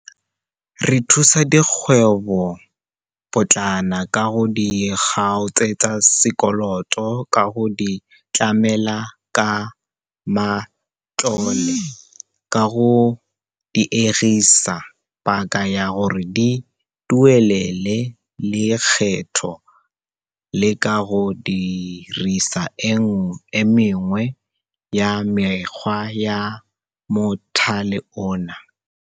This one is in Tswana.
Re thusa dikgwebopotlana ka go di kgaotsetsa sekoloto, ka go di tlamela ka matlole, ka go diegisa paka ya gore di duelele lekgetho le ka go dirisa e mengwe ya mekgwa ya mothale ono.